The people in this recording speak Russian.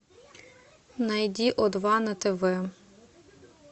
найди о два на тв